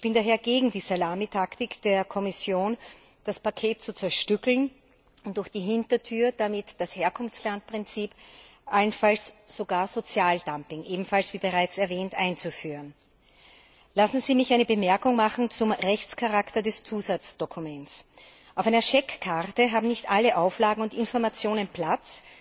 Ich bin daher gegen die Salamitaktik der Kommission, das Paket zu zerstückeln und durch die Hintertür damit das Herkunftslandprinzip, allenfalls sogar Sozialdumping wie ebenfalls bereits erwähnt einzuführen. Lassen Sie mich eine Bemerkung zum Rechtscharakter des Zusatzdokuments machen. Auf einer Scheckkarte haben nicht alle Auflagen und Informationen Platz,